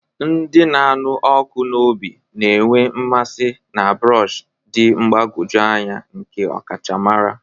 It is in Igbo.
Ndị na-anụ ọkụ n'obi na-enwe mmasị na brush dị mgbagwoju anya nke ọkachamara.